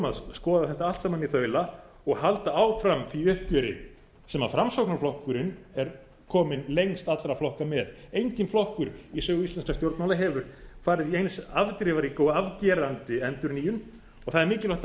þrjátíu skoða þetta allt saman í þaula og halda áfram því uppgjöri sem framsóknarflokkurinn er kominn lengst allra flokka með enginn flokkur í sögu íslenskra stjórnmála hefur farið í eins afdrifaríka og afgerandi endurnýjun og það er mikilvægt að hafa